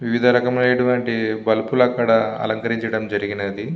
వివిధా రకములైనటువంటి బల్బ్ లు అక్కడ అలంకరించటం జరిగినది.